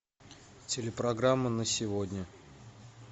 телепрограмма на сегодня